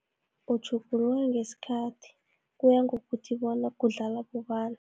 Utjhuguluka ngeskhathi, kuya ngokuthi bona kudlala ababobani.